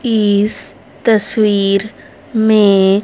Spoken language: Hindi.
इस तस्वीर में--